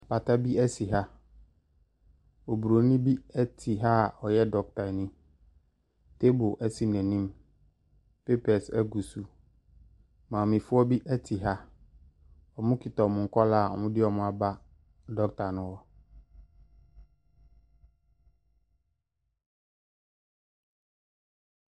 Pata bi si ha, obronin bi te ha a ɔyɛ dɔketani, table si n’anim, papers gu so, maamefoɔ bi te ha. Wɔkita wɔn nkwadaa a wɔde wɔn aba dɔketa ne hɔ.